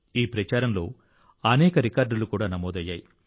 ఈ ప్రచారంలో అనేక రికార్డులు కూడా నమోదయ్యాయి